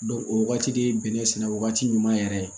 o wagati de ye bɛnɛ sɛnɛ wagati ɲuman yɛrɛ ye